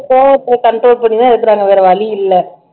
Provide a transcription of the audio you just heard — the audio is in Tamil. கோவத்தை control பண்ணி தான் இருக்குறாங்க வேற வழி இல்ல